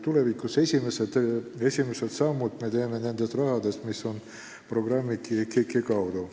Vastus oli, et esimesed sammud me teeme selle raha toel, mis on Keskkonnainvesteeringute Keskuse eelarves.